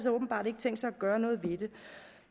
åbenbart ikke tænkt sig at gøre noget ved det